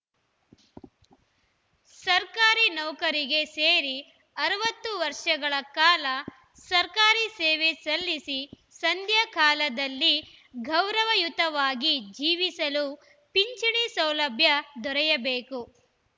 ಸರ್ಕಾರಿ ನೌಕರಿಗೆ ಸೇರಿ ಅರವತ್ತು ವರ್ಷಗಳ ಕಾಲ ಸರ್ಕಾರಿ ಸೇವೆ ಸಲ್ಲಿಸಿ ಸಂಧ್ಯಾಕಾಲದಲ್ಲಿ ಗೌರವಯುತವಾಗಿ ಜೀವಿಸಲು ಪಿಂಚಣಿ ಸೌಲಭ್ಯ ದೊರೆಯಬೇಕು